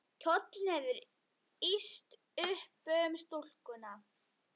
Kjóllinn hefur ýst upp um stúlkuna.